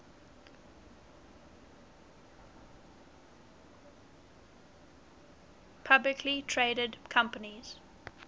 publicly traded companies